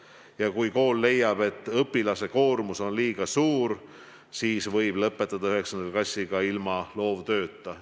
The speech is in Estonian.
Ja kui kool leiab, et õpilase koormus on liiga suur, siis võib 9. klassi lõpetada ka ilma loovtööta.